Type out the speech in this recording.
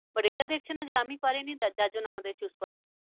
but এটা দেখছে না যে আমি পারিনি যার জন্য আমাদের choose করেনি।